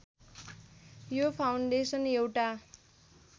यो फाउन्डेसन एउटा